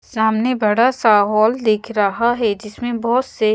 सामने बड़ा सा हॉल दिख रहा है जिसमें बहुत से--